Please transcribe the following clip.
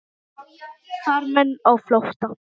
Farmenn á flótta